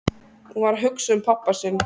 Hún var að hugsa um pabba sinn.